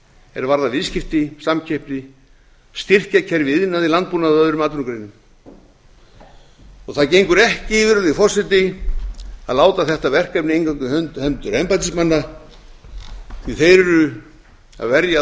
er varðar viðskipti samkeppni styrkjakerfi í iðnaði landbúnaði og öðrum atvinnugreinum og það gengur ekki virðulegi forseti að láta þetta verkefni eingöngu í hendur embættismanna því að þeir eru að verja